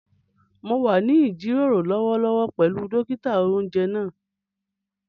Mo wà nínú ìjíròrò lọ́wọ́lọ́wọ́ pẹ̀lú dókítà-oúnjẹ náà